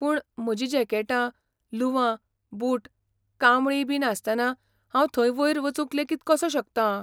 पूण, म्हजीं जॅकेटां, लुंवां, बूट, कांबळी बी नासतना हांव थंय वयर वचूंक लेगीत कसो शकतां ?